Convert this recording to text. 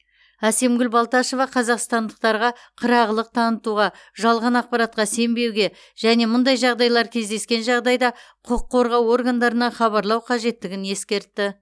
әсемгүл балташева қазақстандықтарға қырағылық танытуға жалған ақпаратқа сенбеуге және мұндай жағдайлар кездескен жағдайда құқық қорғау органдарына хабарлау қажеттігін ескертті